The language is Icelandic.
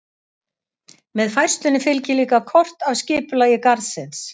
Með færslunni fylgir líka kort af skipulagi garðsins.